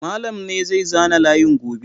Malam na zai zana layin gobe.